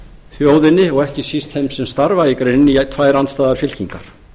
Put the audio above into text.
þjóðinni og ekki síst þeim sem starfa í greininni í tvær andstæðar fylkingar